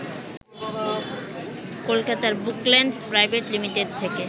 কলকাতার Bookland private limited থেকে